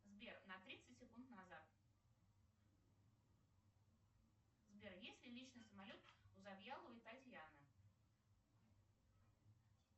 сбер на тридцать секунд назад сбер есть ли личный самолет у завьяловой татьяны